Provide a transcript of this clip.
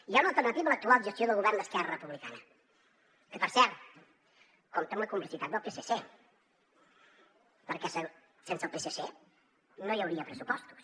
hi ha una alternativa a l’actual gestió del govern d’esquerra republicana que per cert compta amb la complicitat del psc perquè sense el psc no hi hauria pressupostos